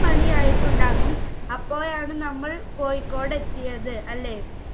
മണിയായിട്ടുണ്ടാകും അപ്പോഴാണ് നമ്മൾ കോഴിക്കോടെത്തിയത് അല്ലെ